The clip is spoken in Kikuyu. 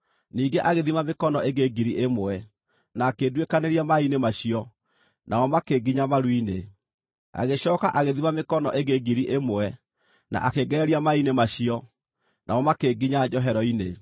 Ningĩ agĩthima mĩkono ĩngĩ ngiri ĩmwe, na akĩnduĩkanĩria maaĩ-inĩ macio, namo makĩnginya maru-inĩ. Agĩcooka agĩthima mĩkono ĩngĩ ngiri ĩmwe, na akĩngereria maaĩ-inĩ macio, namo makĩnginya njohero-inĩ.